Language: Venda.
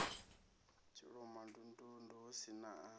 tshilomondundundu hu si na a